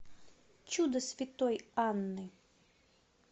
чудо святой анны